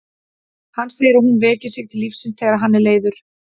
Hann segir að hún veki sig til lífsins þegar hann er leiður.